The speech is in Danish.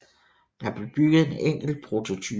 Der blev bygget en enkelt prototype